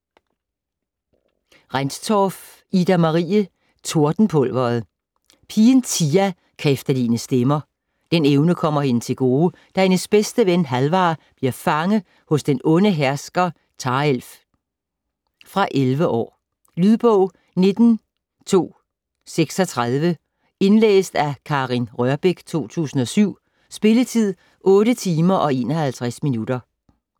Rendtorff, Ida-Marie: Tordenpulveret Pigen Tia kan efterligne stemmer. Den evne kommer hende til gode, da hendes bedste ven Halvar bliver fange hos den onde hersker Tarelf. Fra 11 år. Lydbog 19236 Indlæst af Karin Rørbech, 2007. Spilletid: 8 timer, 51 minutter.